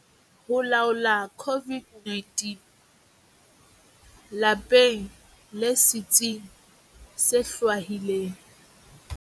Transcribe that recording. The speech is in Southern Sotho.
Ho laola COVID-19- Lapeng le setsing se hlwahilweng.